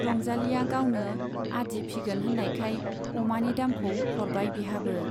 रंजालीया गावनो आदि फिगोन होन्नायखाय अमानि दामखौ हरबाय बिहाबो।